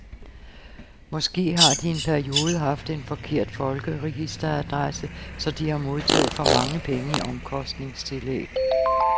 Måske har de i en periode haft en forkert folkeregisteradresse, så de har modtaget for mange penge i omkostningstillæg.